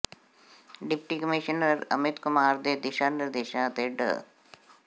deputy commissioner Amit Kumar ਦੇ ਦਿਸ਼ਾਂ ਨਿਰਦੇਸ਼ਾਂ ਅਤੇ ਡਾ